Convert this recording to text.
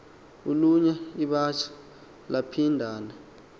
ulunya iwabatsha layaphindana